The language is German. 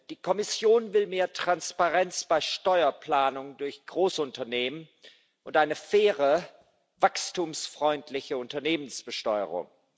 Die Kommission will mehr Transparenz bei Steuerplanung durch Großunternehmen und eine faire, wachstumsfreundliche Unternehmensbesteuerung.